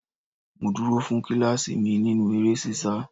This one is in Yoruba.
Mo dúró fún kíláàsì mi nínú eré ṣíṣá.